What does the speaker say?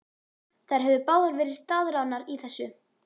Þær höfðu báðar verið staðráðnar í þessu.